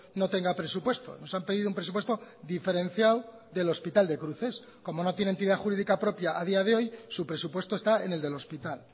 no tenga presupuesto nos han pedido un presupuesto diferenciado del hospital de cruces como no tiene entidad jurídica propia a día de hoy su presupuesto está en el del hospital